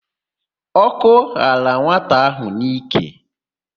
Ọ́kọ́ ghara nwata áhụ̀ n'íkè.